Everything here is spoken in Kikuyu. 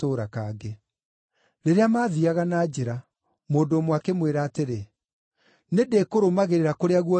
Rĩrĩa maathiiaga na njĩra, mũndũ ũmwe akĩmwĩra atĩrĩ, “Nĩndĩkũrũmagĩrĩra kũrĩa guothe ũrĩthiiaga.”